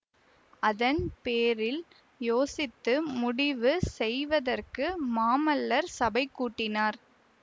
அதன்பேரில் யோசித்து முடிவு செய்வதற்கு மாமல்லர் சபை கூட்டினார்